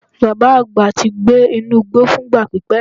Baba agba ti gbe inu igbo fun igba pipẹ.